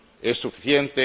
¿Es suficiente?